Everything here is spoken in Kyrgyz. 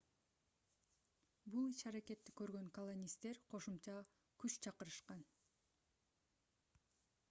бул иш-аракетти көргөн колонисттер кошумча күч чакырышкан